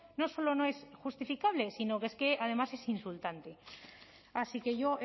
no solo no es justificable sino que es que además es insultante así que yo